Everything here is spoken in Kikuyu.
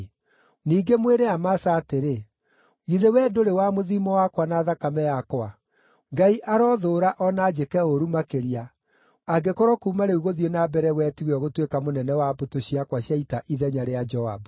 Ningĩ mwĩre Amasa atĩrĩ, ‘Githĩ wee ndũrĩ wa mũthiimo wakwa, na thakame yakwa? Ngai arothũũra o na anjĩke ũũru makĩria, angĩkorwo kuuma rĩu gũthiĩ na mbere wee tiwe ũgũtuĩka mũnene wa mbũtũ ciakwa cia ita ithenya rĩa Joabu.’ ”